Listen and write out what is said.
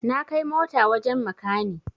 Na kai mota wajen makani